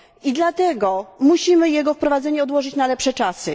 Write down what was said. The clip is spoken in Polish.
I dlatego musimy jego wprowadzenie odłożyć na lepsze czasy.